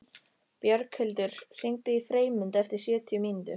Björghildur, hringdu í Freymund eftir sjötíu mínútur.